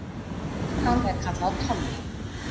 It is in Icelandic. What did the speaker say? Hann er kallaður Tolli.